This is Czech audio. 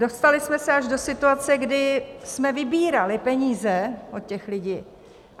Dostali jsme se až do situace, kdy jsme vybírali peníze od těch lidí.